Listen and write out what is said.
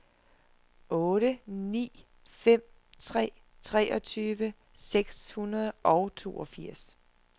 otte ni fem tre treogtyve seks hundrede og toogfirs